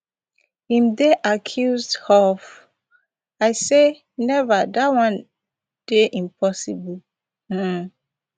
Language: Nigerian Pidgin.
im dey accused of i say never dat one dey impossible um